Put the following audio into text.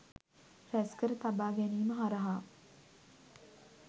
රැස්කර තබා ගැනීම හරහා